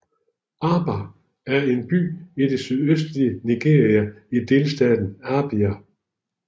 Aba er en by i det sydøstlige Nigeria i delstaten Abia